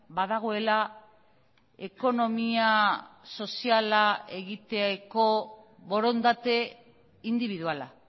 badagoela ekonomia soziala egiteko borondate indibiduala